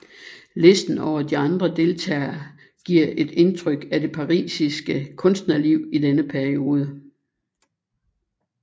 Listen over de andre deltagere giver et indtryk af det parisiske kunstnerliv i denne periode